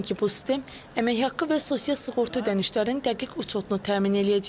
Çünki bu sistem əmək haqqı və sosial sığorta ödənişlərinin dəqiq uçotunu təmin edəcək.